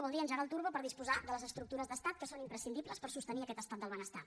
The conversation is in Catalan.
vol dir engegar el turbo per disposar de les estructures d’estat que són imprescindibles per sostenir aquest estat del benestar